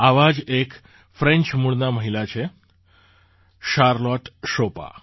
આવાં જ એક ફ્રેન્ચ મૂળનાં મહિલા છે શારલોટ શોપા